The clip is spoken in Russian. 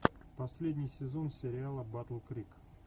последний сезон сериала батл крик